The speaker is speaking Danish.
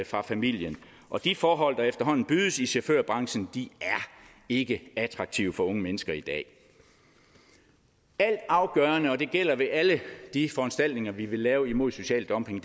fra familien og de forhold der efterhånden bydes i chaufførbranchen er ikke attraktive for unge mennesker i dag altafgørende og det gælder ved alle de foranstaltninger vi vil lave imod social dumping